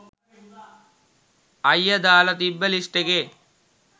අයියා දාලා තිබ්බ ලිස්ට් එකේ